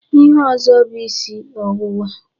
Ihe ọzọ bụ isi ọwụwa.